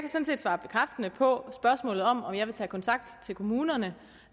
svare bekræftende på spørgsmålet om om jeg vil tage kontakt til kommunerne